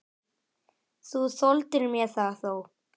Þú þoldir mér það þó.